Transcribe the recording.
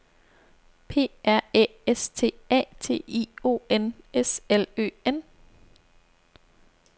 P R Æ S T A T I O N S L Ø N